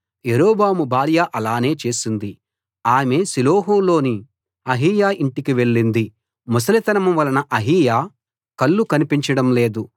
యరొబాము భార్య అలానే చేసింది ఆమె షిలోహులోని అహీయా ఇంటికి వెళ్ళింది ముసలితనం వలన అహీయా కళ్ళు కనిపించడం లేదు